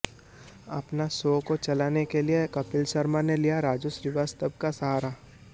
अपने शो को चलाने के लिए कपिल शर्मा ने लिया राजू श्रीवास्तव का सहारा